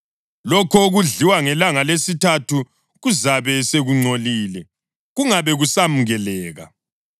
Lokho okudliwa ngelanga lesithathu kuzabe sekungcolile, kungabe kusemukeleka.